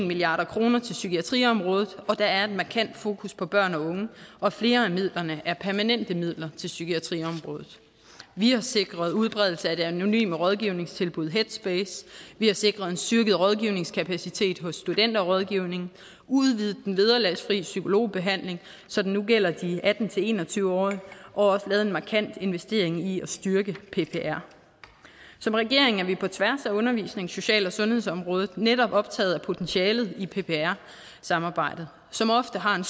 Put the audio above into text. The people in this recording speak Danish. milliard kroner til psykiatriområdet og at der er et markant fokus på børn og unge og flere af midlerne er permanente midler til psykiatriområdet vi har sikret udbredelse af det anonyme rådgivningstilbud headspace vi har sikret en styrket rådgivningskapacitet hos studenterrådgivningen udvidet den vederlagsfri psykologbehandling så den nu gælder de atten til en og tyve årige og også lavet en markant investering i at styrke ppr som regering er vi på tværs af undervisnings social og sundhedsområdet netop optaget af potentialet i ppr samarbejdet som ofte har en